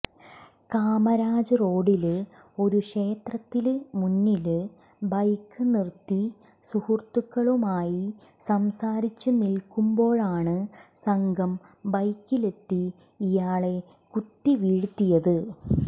കാമരാജ് റോഡില് ഒരു ക്ഷേത്രത്തിന് മുന്നില് ബൈക്ക് നിര്ത്തി സുഹൃത്തുക്കളുമായി സംസാരിച്ചു നില്ക്കുമ്പോഴാണ് സംഘം ബൈക്കിലെത്തി ഇയാളെ കുത്തിവീഴ്ത്തിയത്